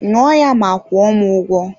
Ṅụọ ya ma kwuo m ụgwọ